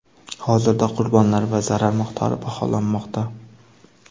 Hozirda qurbonlar va zarar miqdori baholanmoqda.